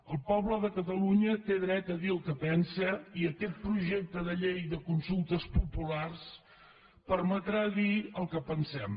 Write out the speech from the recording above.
el poble de catalunya té dret a dir el que pensa i aquest projecte de llei de consultes populars permetrà dir el que pensem